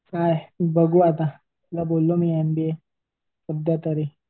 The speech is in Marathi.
बघू आता बोललो मी एमबीए सध्या तरी